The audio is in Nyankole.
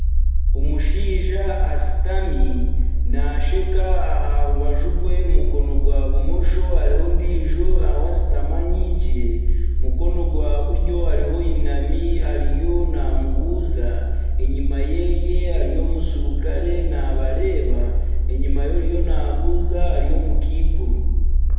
Omushaija ashutami naasheka, aha rubaju rwe mukono gwa bumosho hariho ondiijo ashutami anyigire, mukono gwa buryo hariho oyinami ariyo namubuuza enyuma ye hariyo omuserukare nabareeba enyuma y'oriyo nabuuza hariyo omukaikuru.